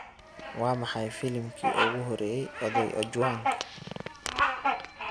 waa maxay filimkii ugu horeeyay oday ojwang